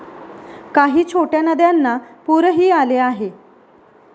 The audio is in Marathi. काही छोट्या नद्यांना पुरही आले आहे.